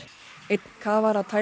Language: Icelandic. einn kafara